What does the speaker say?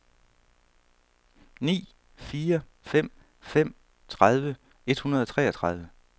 ni fire fem fem tredive et hundrede og treogtredive